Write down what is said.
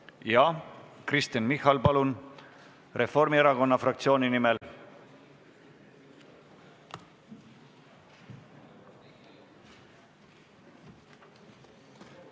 Jah, Kristen Michal, palun, Reformierakonna fraktsiooni nimel!